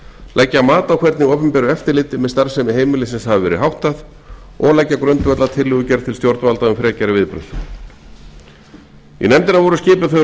leggja mat á hvernig opinberu eftirliti með starfsemi heimilisins hafi verið háttað og leggja grundvöll að tillögugerð til stjórnvalda um frekari viðbrögð í nefndina voru skipuð þau